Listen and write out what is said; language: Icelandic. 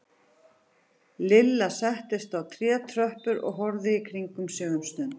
Lilla settist á trétröppurnar og horfði í kringum sig um stund.